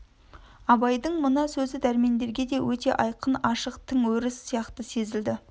абайдың мына сөзі дәрмендерге де өте айқын ашық тың өріс сияқты сезілді